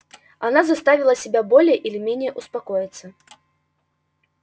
она заставила себя более или менее успокоиться